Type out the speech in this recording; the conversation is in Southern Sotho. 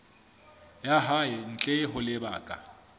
ya hae ntle ho lebaka